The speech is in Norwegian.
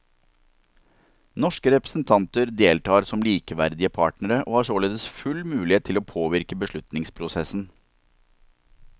Norske representanter deltar som likeverdige partnere, og har således full mulighet til å påvirke beslutningsprosessen.